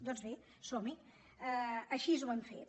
doncs bé som hi així ho hem fet